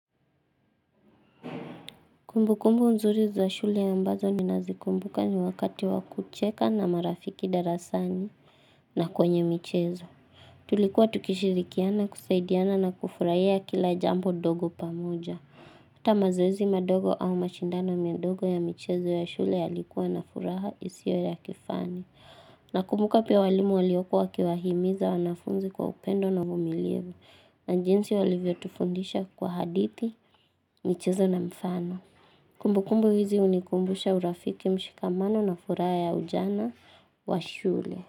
Kumbukumbu nzuri za shule ambazo ninazikumbuka ni wakati wa kucheka na marafiki darasani na kwenye michezo. Tulikuwa tukishirikiana, kusaidiana na kufurahia kila jambo dogo pamoja. Hata mazoezi madogo au mashindano midogo ya michezo ya shule yalikuwa na furaha isio ya kifani. Nakumbuka pia walimu waliokuwa wakiwahimiza wanafunzi kwa upendo na uvumilivu na jinsi walivyotufundisha kwa hadithi, michezo na mfano. Kumbukumbu hizi hunikumbusha urafiki mshikamano na furaa ya ujana wa shule.